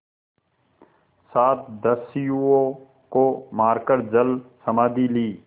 सात दस्युओं को मारकर जलसमाधि ली